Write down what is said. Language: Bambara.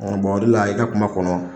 o de la i ka kuma kɔnɔ.